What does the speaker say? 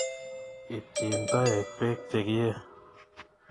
Ipchi toek pek che kiei